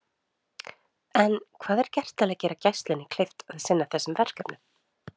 En hvað er gert til að gera Gæslunni kleift að sinna þessum verkefnum?